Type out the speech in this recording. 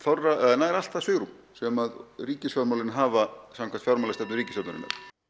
nær allt það svigrúm sem ríkisfjármálin hafa samkvæmt fjármálastefnu ríkisstjórnarinnar